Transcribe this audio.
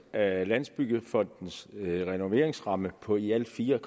af landsbyggefondens renoveringsramme på i alt fire